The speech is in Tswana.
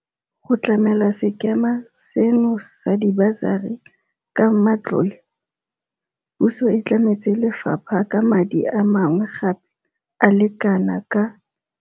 Go tlamela sekema seno sa dibasari ka matlole, puso e tlametse lefapha ka madi a mangwe gape a le kanaka